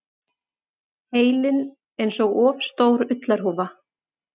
Heilinn einsog of stór ullarhúfa.